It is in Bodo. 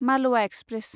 मालवा एक्सप्रेस